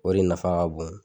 O de nafa ka bon